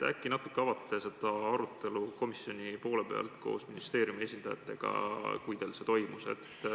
Äkki te natuke avate komisjoni poole pealt seda arutelu ministeeriumi esindajatega, kui teil see toimus.